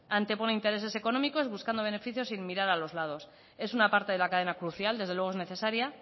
antepone intereses económicos buscando beneficios sin mirar a los lados es una parte de la cadena crucial desde luego es necesaria